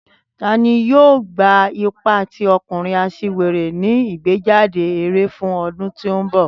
Tani yoo gba ipa ti ọkunrin aṣiwere ni igbejade ere fun ọdun ti n bọ?